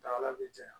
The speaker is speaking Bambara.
Dala bɛ janɲa